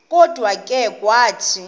kodwa ke wathi